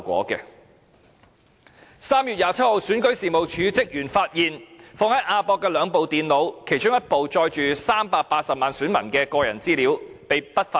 在3月27日，選舉事務處職員發現放在亞洲國際博覽館的兩部電腦被不法分子偷去，其中一部載有380萬名選民的個人資料。